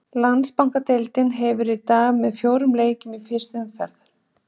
Landsbankadeildin hefst í dag með fjórum leikjum fyrstu umferðar.